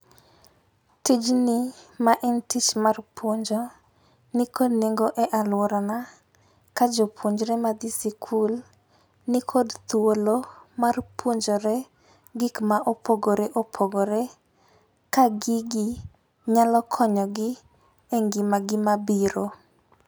Tijni ma en tich mar puonjo nikod nengo e alworana ka jopuonjore madhi sikul nikod thuolo mar puonjore gik ma opogore opogore, ka gigi nyalo konyogi e ngimagi mabiro.